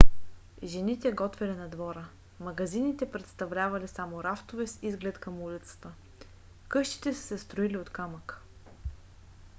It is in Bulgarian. жените готвели на двора; магазините представлявали само рафтове с изглед към улицата. къщите са се строили от камък